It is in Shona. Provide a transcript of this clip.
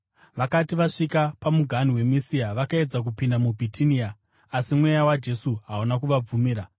Vakati vasvika pamuganhu weMisia, vakaedza kupinda muBhitinia, asi Mweya waJesu hauna kuvabvumira.